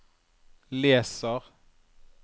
leser